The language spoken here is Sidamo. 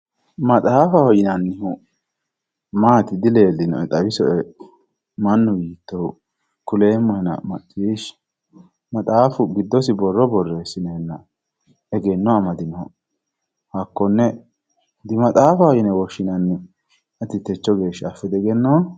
maxaafu yinannihu maatiro dileelllinoena xawisoe mannu yiittohu kuleemmohena macciishhsie, maxaafu giddosi borrro borreessineenna egenno amadinoha hakkone dimaxaafaho yine woshshinanni ati techo geeya diafootto